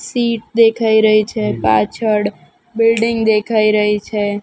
Seat દેખાય રહી છે પાછળ બિલ્ડીંગ દેખાય રહી છે.